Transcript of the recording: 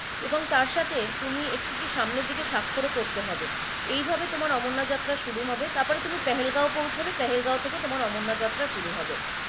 এবং তারসাথে তুমি একটিকি সামনে দিকে স্বাক্ষরও করতে হবে এই ভাবে তোমার অমরনাথ যাত্ৰা শুরু হবে তারপরে তুমি পেহেলগাঁও পৌঁছাবে পহেলগাঁও থাকে তোমার অমরনাথ যাত্ৰা শুরু হবে।